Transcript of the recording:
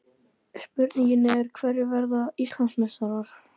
Spurningin er: Hverjir verða Íslandsmeistarar?